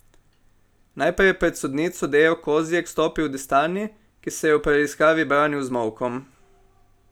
Najprej je pred sodnico Dejo Kozjek stopil Destani, ki se je v preiskavi branil z molkom.